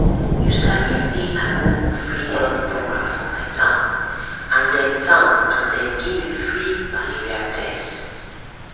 you sabi say i go free health program for my town and dem town and dem gimme free malaria tests